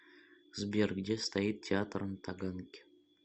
сбер где стоит театр на таганке